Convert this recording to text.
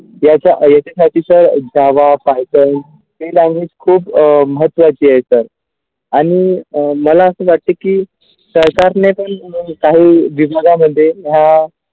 त्याचा साठी तर java Python ती language खूप महत्वाची आहे तर आणि मला असं वाटते की काही विविधा होते हा.